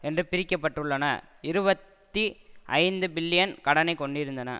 என்று பிரிக்கப்பட்டுள்ளன இருபத்தி ஐந்து பில்லியன் கடனை கொண்டிருந்தன